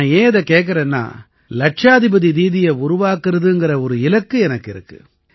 நான் ஏன் இதைக் கேக்கறேன்னா லட்சாதிபதி தீதியை உருவாக்கறதுங்கற ஒரு இலக்கு எனக்கு இருக்கு